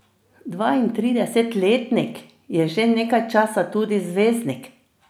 Dvaintridesetletnik je že nekaj časa tudi zvezdnik.